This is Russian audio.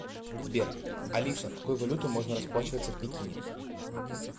сбер алиса какой валютой можно расплачиваться в пекине